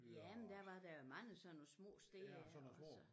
Jamen der var der jo mange sådan steder og så